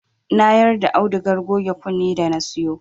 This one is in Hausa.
Na yarda audugar goge kunne da na siyo